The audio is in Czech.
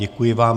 Děkuji vám.